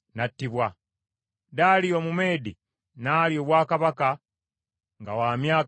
Daliyo Omumeedi n’alya obwakabaka nga wa myaka nkaaga mu ebiri.